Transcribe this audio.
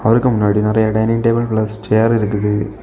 இவ்ருக்கு முன்னாடி நறைய dining table plus chair இருக்குது.